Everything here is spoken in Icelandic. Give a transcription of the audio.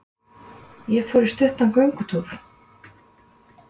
Ég fór í stuttan göngutúr.